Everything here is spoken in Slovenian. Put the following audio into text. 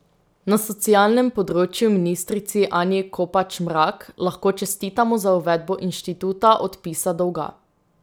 Na socialnem področju ministrici Anji Kopač Mrak lahko čestitamo za uvedbo instituta odpisa dolga.